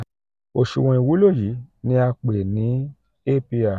oṣuwọn iwulo yii ni a yii ni a pe ni apr.